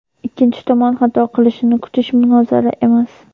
ikkinchi tomon xato qilishini kutish munozara emas.